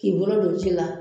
Ki bolo don ji la.